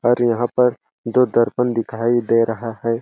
और यहाँ पर दो दर्पण दिखाई दे रहा है।